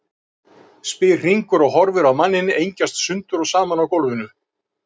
spyr Hringur og horfir á manninn engjast sundur og saman á gólfinu.